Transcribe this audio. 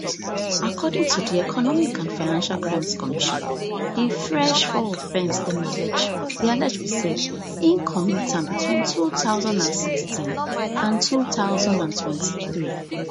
according to di economic and financial crimes commission di fresh four offence dem allege be allege be say im commit am between two thousand and sixteen and two thousand and twenty-three